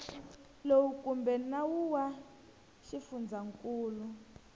lowu kumbe nawu wa xifundzankulu